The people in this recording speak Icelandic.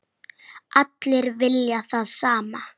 Allir vilja það sama.